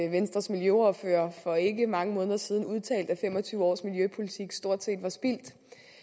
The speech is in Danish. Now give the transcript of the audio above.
venstres miljøordfører for ikke mange måneder siden udtalte at fem og tyve års miljøpolitik stort set var spildt